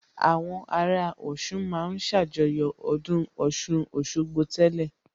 Àwọn ará Ọ̀ṣun ma ń ṣàjọyọ̀ ọdún Ọ̀ṣun Òṣogbo tẹ́lẹ̀